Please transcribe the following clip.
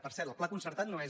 per cert el pla concer·tat no és